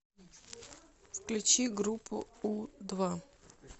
включи группу у два